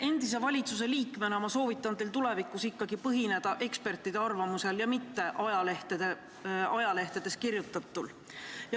Endise valitsusliikmena soovitan ma teil tulevikus ikkagi tugineda ekspertide arvamusele ja mitte ajalehtedes kirjutatule.